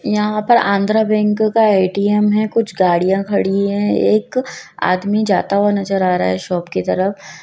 यहां पर आंध्रा बैंक का ए_टी_एम है कुछ गाड़ियां खड़ी है एक आदमी जाता हुआ नजर आ रहा है शॉप की तरफ--